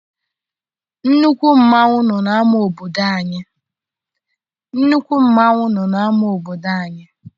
Nnukwu mmanwụ nọ n'ama obodo anyị.